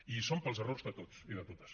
i hi som pels errors de tots i de totes